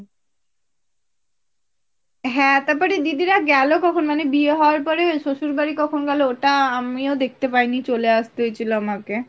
হ্যাঁ, তারপরে দিদিরা গেল কখন মানে বিয়ে হওয়ার পরে শশুরবাড়ি কখন গেলো ওটা আমিও দেখতে পাইনি চলে আস্তে হয়েছিল আমাকে।